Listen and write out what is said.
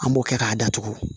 An b'o kɛ k'a datugu